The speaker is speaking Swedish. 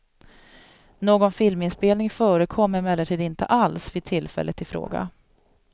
Någon filminspelning förekom emellertid inte alls vid tillfället ifråga.